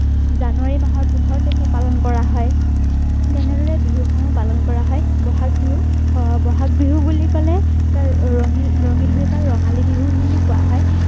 জানুৱাৰী মাহৰ পোন্ধৰ তাৰিখে পালন কৰা হয় ৰে বিহুসমূহ পালন কৰা হয় বহাগ বিহু আহ বহাগ বিহু বুলি কলে তাৰ ৰঙীল ৰঙীলতা ৰঙালী বিহু বুলি কোৱা হয়